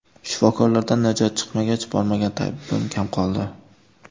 Shifokorlardan najot chiqmagach, bormagan tabibim kam qoldi.